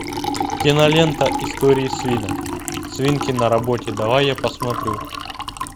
кинолента истории свинок свинки на работе давай я посмотрю